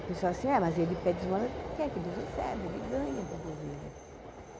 O pessoal assim, é, mas ele pede esmola porque é que ele recebe, ele ganha do governo.